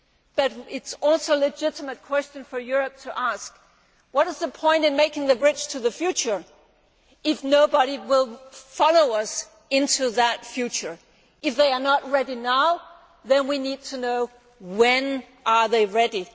But it is also a legitimate question for Europe to ask what is the point in making the bridge to the future if nobody will follow us into that future? If they are not ready now, then we need to know when they are ready.